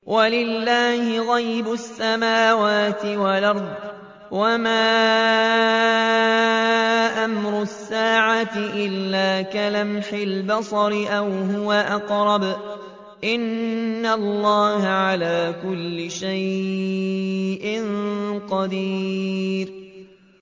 وَلِلَّهِ غَيْبُ السَّمَاوَاتِ وَالْأَرْضِ ۚ وَمَا أَمْرُ السَّاعَةِ إِلَّا كَلَمْحِ الْبَصَرِ أَوْ هُوَ أَقْرَبُ ۚ إِنَّ اللَّهَ عَلَىٰ كُلِّ شَيْءٍ قَدِيرٌ